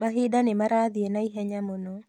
Mahinda nĩmarathiĩ naihenya mũno